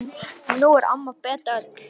Nú er amma Beta öll.